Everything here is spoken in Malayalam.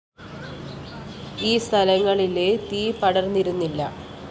ഈ സ്ഥലങ്ങളിലെ തീ പടര്‍ന്നിരുന്നില്ല